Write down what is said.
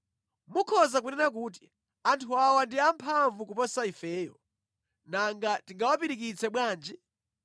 Mukhoza kunena kuti, “Anthu awa ndi amphamvu kuposa ifeyo. Nanga tingawapirikitse bwanji?”